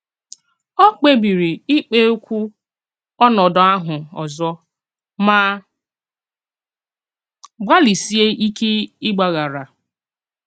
Ó kpèbìrì íkpèkwù ónòdù ahụ òzò mà gbàlìsìè íké ìgbàghàrà."